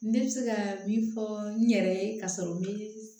Ne bɛ se ka min fɔ n yɛrɛ ye ka sɔrɔ m